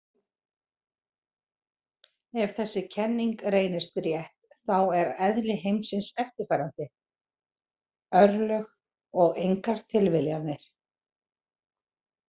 Ef þessi kenning reynist rétt þá er eðli heimsins eftirfarandi: örlög og engar tilviljanir.